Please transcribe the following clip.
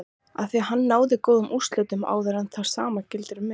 Afþví hann náði góðum úrslitum áður og það sama gildir um mig.